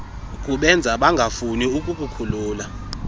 kubenza bangafuni ukukukhulula